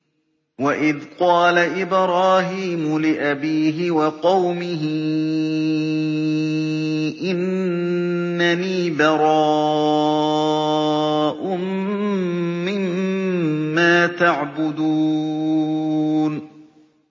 وَإِذْ قَالَ إِبْرَاهِيمُ لِأَبِيهِ وَقَوْمِهِ إِنَّنِي بَرَاءٌ مِّمَّا تَعْبُدُونَ